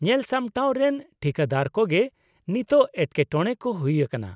ᱧᱮᱞᱥᱟᱢᱴᱟᱣ ᱨᱮᱱ ᱴᱷᱤᱠᱟᱹᱫᱟᱨ ᱠᱚᱜᱮ ᱱᱤᱛᱳᱜ ᱮᱴᱠᱮᱴᱚᱲᱮ ᱠᱚ ᱦᱩᱭ ᱟᱠᱟᱱᱟ ᱾